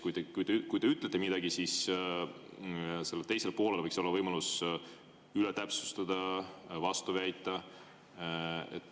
Näiteks, kui te ütlete midagi, siis teisel poolel võiks olla võimalus üle täpsustada, vastu väita.